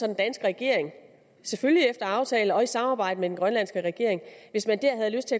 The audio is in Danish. den danske regering selvfølgelig efter aftale med og i samarbejde med den grønlandske regering